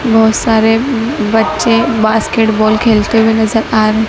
बहोत सारे बच्चे बास्केटबॉल खेलते हुए नजर आ--